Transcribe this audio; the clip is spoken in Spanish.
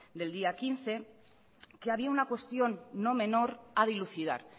del día quince que había una cuestión no menor a dilucidar